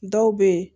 Dɔw bɛ yen